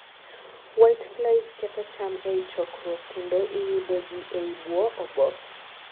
whiteflies ketho cham ei chokruok kendo iyude gi eii buo oboke